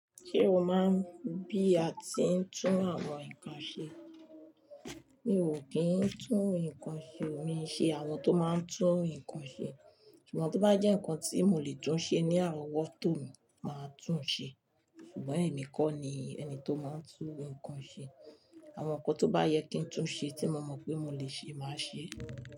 Ṣé o máa ń bí a tí ń tún àwọn nǹkan ṣe? Mi ò kí ń tún nǹkan ṣe, mii n ṣe àwọn tó máa ń tún nǹkan ṣe. Ṣùgbọ́n tó bá jẹ́ nǹkan tí mo lè tún ṣe ní àrọ́wọ́tò mi máa tún un ṣe. Ṣùgbọ́n èmi kọ́ ni ẹni tó máa ń tún nǹkan ṣe. Àwọn nǹkan tó bá yẹ kí ń tún ṣe tí mo mọ̀ pé mo lè ṣe máa ṣe.